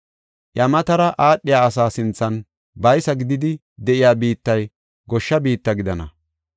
Iya matara aadhiya asaa sinthan baysa gididi de7iya biittay goshsha biitta gidana.